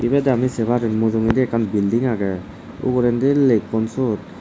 eyot ami sey pari mujugendi ekkan belding agey ugurendi lekkon sot.